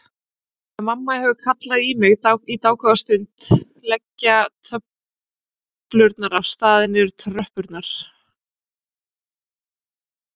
Þegar mamma hefur kallað í mig dágóða stund leggja töflurnar af stað niður tröppurnar.